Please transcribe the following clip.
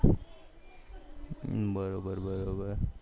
બરોબર